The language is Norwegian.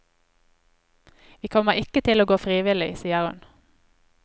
Vi kommer ikke til å gå frivillig, sier hun.